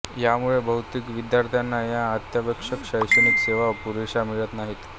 ह्यामुळे बहुतेक विद्यार्थ्याना ह्या अत्यावश्यक शैक्षणिक सेवा पुरेशा मिळत नाहीत